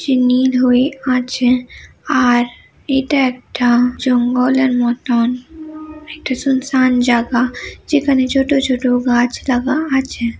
নীল হয়ে আছে আর এটা একটাজঙ্গলের মতন একটা সুনসান জাগা যেখানে ছোট ছোট গাছ লাগা আছে।